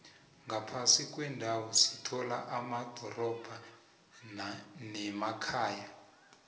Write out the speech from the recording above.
ngaphasi kwendawo sithola amadorobha nemakhaya